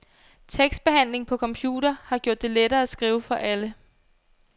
Tekstbehandling på computer har gjort det lettere at skrive for alle.